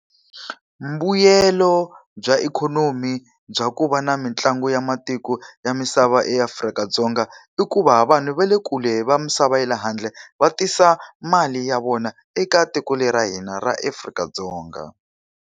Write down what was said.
Mbuyelo bya ikhonomi bya ku va na mitlangu ya matiko ya misava eAfrika-Dzonga, i ku va vanhu va le kule va misava ya le handle va tisa mali ya vona eka tiko leri ra hina ra Afrika-Dzonga.